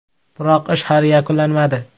Biroq ish hali yakunlanmadi.